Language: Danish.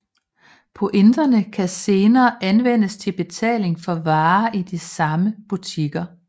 Pointene kan senere anvendes til betaling for varer i de samme butikker